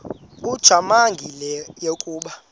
ujamangi le yakoba